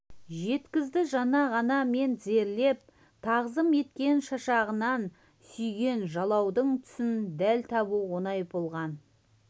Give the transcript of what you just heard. жеткізді жаңа ғана мен тізерлеп тағзым еткен шашағынан сүйген жалаудың түсін дәл табу оңай болған